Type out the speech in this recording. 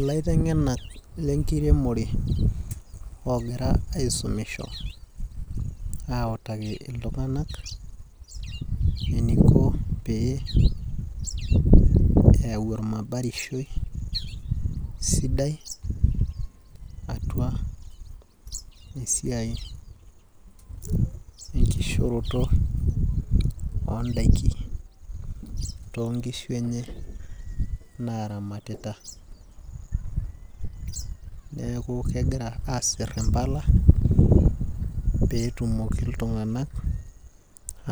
Ilaiteng'enak lenkiremore ogira aisumisho, autaki iltung'anak eniko pee eyau ormabarishoi sidai atua esiai dnkishooroto odaiki tonkishu enye naramatita. Neeku kegira aasir impala, petumoki iltung'anak